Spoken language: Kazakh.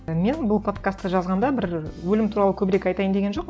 мен бұл подкастты жазғанда бір өлім туралы көбірек айтайын деген жоқпын